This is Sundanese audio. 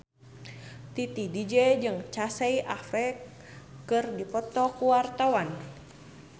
Titi DJ jeung Casey Affleck keur dipoto ku wartawan